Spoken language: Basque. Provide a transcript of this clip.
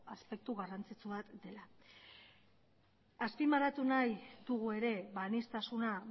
aspektu garrantzitsu bat dela azpimarratu nahi dugu ere aniztasuna